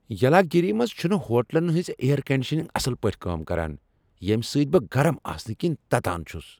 یلاگیری منٛز چھنہٕ ہوٹلن ہنز اییر کنڈیشنگ اصل پٲٹھۍ کٲم کران ییٚمہ سۭتۍ بہٕ گرم آسنہٕ کِنہِ تتان چھس۔